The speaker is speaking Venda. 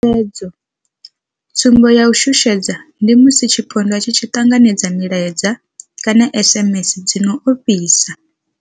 Tshutshedzo, Tsumbo ya u shushedzwa ndi musi tshipondwa tshi tshi ṱanganedza milaedza kana SMS dzi no ofhisa.